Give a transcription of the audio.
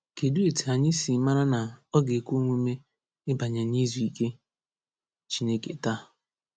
Kedụ etu anyị si mara na ọ ga-ekwe omume ịbanye n’izu ike Chineke taa?